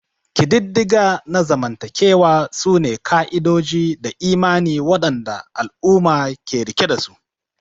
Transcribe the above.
Ƙididdiga na zamantakewa sune ka'idoji da imani waɗanda al'umma ke riƙe dasu.